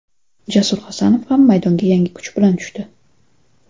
Jasur Hasanov ham maydonga yangi kuch bilan tushdi.